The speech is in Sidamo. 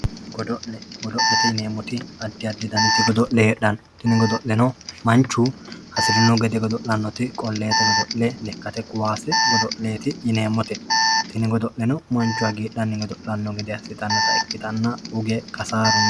godo'le godo'lete yineemoti addi addi daniti godo'le hexxano tini godo'leno manchi hasirino gede godo'lannote qolleete godo'le lekkate koyaase godo'leti yineemote tini godo'leno manchu hagiixanni godo'lanno gede assitannota ikkitanna uge kasaaru no.